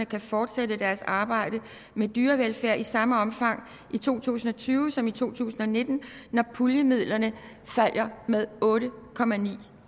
kan fortsætte deres arbejde med dyrevelfærd i samme omfang i to tusind og tyve som i to tusind og nitten når puljemidlerne falder med otte